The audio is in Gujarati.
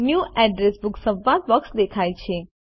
ન્યૂ એડ્રેસ બુક સંવાદ બોક્સ દેખાય છે